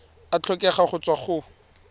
a tlhokega go tswa go